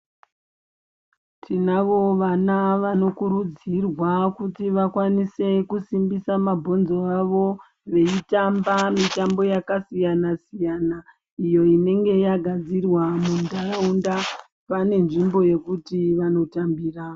Tinavo vana vanokurudzirwa kuti vakwanise kusimbisa mabhonzo avo veitamba mitambo yakasiyana siyana iyo inenge yagadzirwa muntaraunda vane nzvimbo yekuti vanotambira.